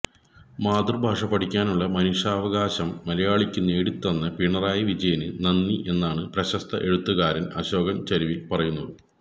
മാതൃഭാഷ പഠിക്കാനുള്ള മനുഷ്യാവകാശം മലയാളിക്കു നേടിത്തന്ന പിണറായി വിജയന് നന്ദി എന്നാണ് പ്രശ്സ്ത എഴുത്തുകാരൻ അശോകൻ ചരുവിൽ പറയുന്നത്